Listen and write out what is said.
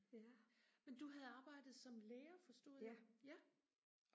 men du havde arbejdet som lærer forstod jeg ja